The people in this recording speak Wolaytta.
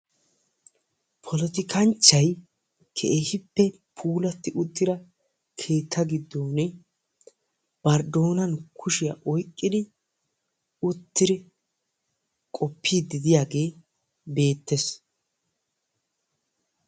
Poltikinchchay keegippe puularti uttida keetta giddon bari doonan kushiya oyqqidi uttidi qopidi diyaage beettees.